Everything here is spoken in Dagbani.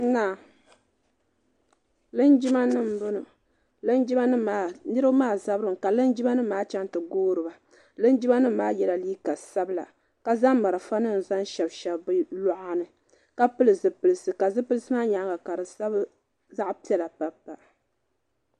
Linjima nima n bɔŋɔ niriba maa zabiri mi ka linjima nima maa chaŋ ti goori ba linjima nima maa yiɛla liiga sabila zaŋ marafa nima zaŋ shɛbi shɛbi bi luɣa ni ka pili zipilisi ka zipilisi maa yɛanga ka di sabi zaɣi piɛlla n pa n pa.